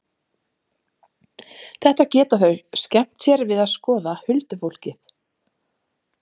Þetta geta þau skemmt sér við að skoða, huldufólkið.